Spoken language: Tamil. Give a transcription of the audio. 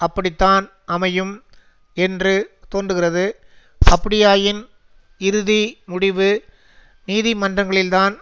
அப்படித்தான் அமையும் என்று தோன்றுகிறது அப்படியாயின் இறுதி முடிவு நீதிமன்றங்களில்தான்